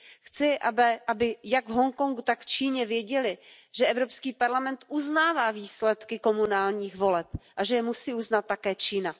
Chci, aby jak v Hongkongu, tak v Číně věděli, že Evropský parlament uznává výsledky komunálních voleb a že je musí uznat také Čína.